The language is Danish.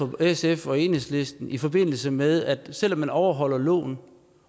sf og enhedslisten i forbindelse med at selv om man overholder loven